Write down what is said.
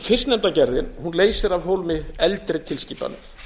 fyrstnefnda gerðin leysir af hólmi eldri tilskipanir